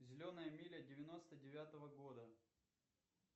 зеленая миля девяносто девятого года